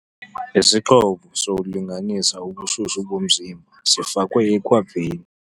Isixhobo sokulinganisa ubushushu bomzimba sifakwe ekhwapheni.